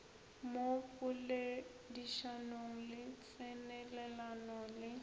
mo poledišanong le tsenelelano le